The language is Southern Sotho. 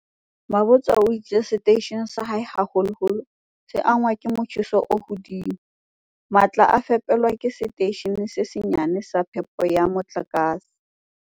Mabotja o itse seteishene sa hae, haholoholo, se angwa ke motjheso o hodimo. "Matla a fepelwa ke setei shene se senyane sa phepelo ya motlakase."